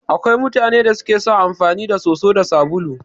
Akwai mutanan da suke son amfani da soso da sabulu.